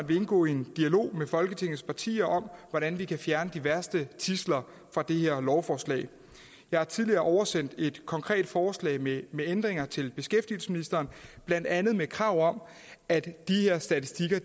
vil indgå i en dialog med folketingets partier om hvordan vi kan fjerne de værste tidsler fra det her lovforslag jeg har tidligere oversendt et konkret forslag med ændringer til beskæftigelsesministeren blandt andet med krav om at de her statistikker